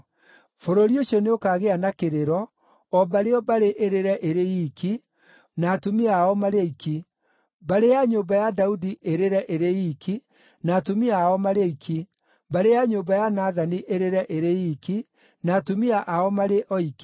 Bũrũri ũcio nĩũkagĩa na kĩrĩro, o mbarĩ o mbarĩ ĩrĩre ĩrĩ iiki, na atumia ao marĩ oiki: mbarĩ ya nyũmba ya Daudi ĩrĩre ĩrĩ iiki na atumia ao marĩ oiki, mbarĩ ya nyũmba ya Nathani ĩrĩre ĩrĩ iiki, na atumia ao marĩ oiki,